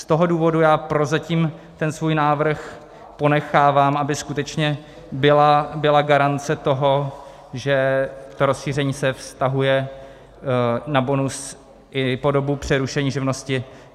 Z toho důvodu já prozatím ten svůj návrh ponechávám, aby skutečně byla garance toho, že to rozšíření se vztahuje na bonus i po dobu přerušení živnosti.